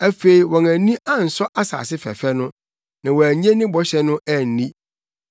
Afei wɔn ani ansɔ asase fɛfɛ no; na wɔannye ne bɔhyɛ no anni.